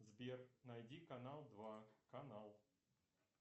сбер найди канал два канал